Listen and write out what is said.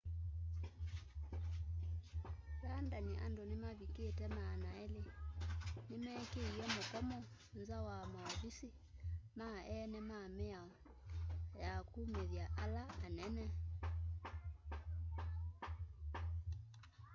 london andu mavikite 200 ni mekiie mukomo nza wa mauvisi ma eene ma mĩao ya kumĩthya ala anene